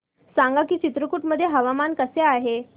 सांगा की चित्रकूट मध्ये हवामान कसे आहे